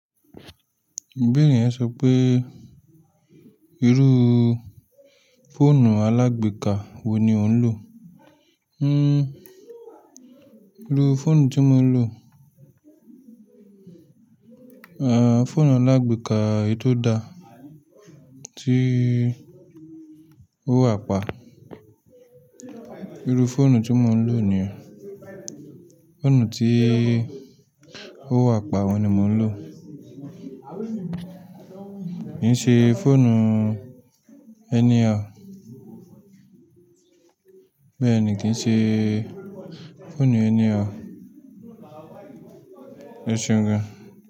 Bénìyàn sọ pé irú fóònù alágbèéká wo ni ò ń lò? Hhm, irú fóònù tí mo ń lò? Aah, fóònù alágbèéká eyi tó da, tí ó wà pa. Irú fóònù tí mo ń lò ni, fóònù tí ó wà pa oun ni mo ń lò. Kì í ṣe fóònù anyhow. Bẹ́ẹ̀ ni, kì í ṣe fóònù anyhow, ẹṣeun gan.